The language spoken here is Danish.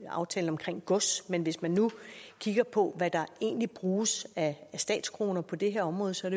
aftalen omkring gods men hvis man nu kigger på hvad der egentlig bruges af statskroner på det her område ser